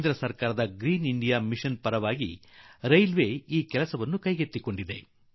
ಕೇಂದ್ರ ಸರ್ಕಾರ ಕೈಗೊಂಡಿರುವ ಉಡಿeeಟಿ Iಟಿಜiಚಿ ಒissioಟಿ ಅಡಿಯಲ್ಲಿ ರೈಲ್ವೆ ಇಲಾಖೆ ಈ ಕೆಲಸವನ್ನು ಕೈಗೊಂಡಿದೆ